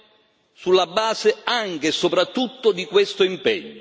Ci sono stati risultati importanti, perché negarlo?